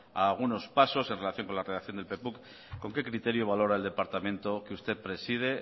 algunos pasos en relación con la redacción del con qué criterio valora el departamento que usted preside